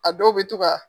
A dɔw bɛ to ka